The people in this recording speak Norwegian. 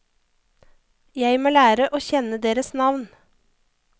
Jeg må lære å kjenne deres navn.